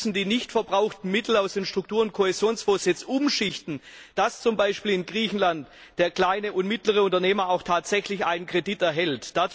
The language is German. Und wir müssen die nicht verbrauchten Mittel aus den Struktur und Kohäsionsfonds umschichten, damit zum Beispiel in Griechenland der kleine und mittlere Unternehmer auch tatsächlich einen Kredit erhält.